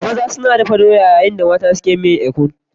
Maza suna ɗakadoyan yayin da mata ke dafa miyar ikong.